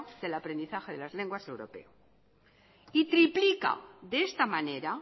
del aprendizaje de las lenguas europeas y triplica de esta manera